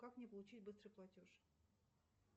как мне получить быстрый платеж